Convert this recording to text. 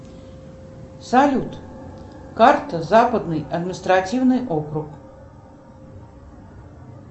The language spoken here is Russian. салют карта западный административный округ